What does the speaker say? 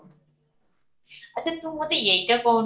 ଅଛ ତୁ ମତେ ଏଇଟା କହୁନୁ